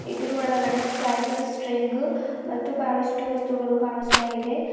ಇದುರ್ ಒಳಗಡೆ ಸ್ಪೈಟು ಸ್ಟ್ರಿಂಗು ಮತ್ತು ಬಹಳಷ್ಟು ವಸ್ತುಗಳು ಕಾಣುಸ್ತಾ ಇದೆ.